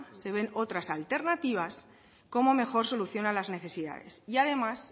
se van otras alternativas como mejor solución a las necesidades y además